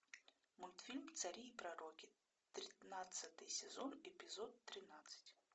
мультфильм цари и пророки тринадцатый сезон эпизод тринадцать